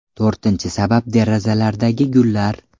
To‘rtinchi sabab derazalardagi gullar.